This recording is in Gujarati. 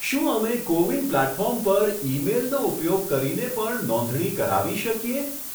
શું અમે કો વિન પ્લેટફોર્મ પર ઈ મેઈલનો ઉપયોગ કરીને પણ નોંધણી કરાવી શકીએ?